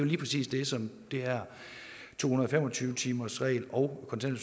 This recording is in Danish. lige præcis det som det her to hundrede og fem og tyve timersreglen og